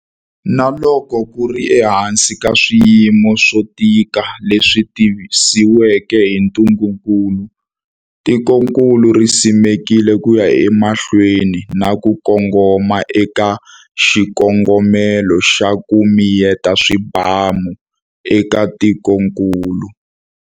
Na loko ku ri ehansi ka swiyimo swo tika leswi tisiweke hi ntungukulu, tikokulu ri susumetile ku ya emahlweni na ku kongoma eka xikongomelo xa 'ku miyeta swibamu' eka tikokulu.